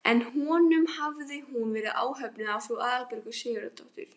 En honum hafði hún verið ánöfnuð af frú Aðalbjörgu Sigurðardóttur.